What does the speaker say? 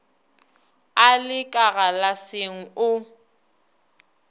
a le ka galaseng o